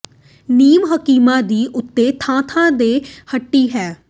ਨੀਮ ਹਕੀਮਾਂ ਦੀ ਓਥੇ ਥਾਂ ਥਾਂ ਤੇ ਹੱਟੀ ਹੈ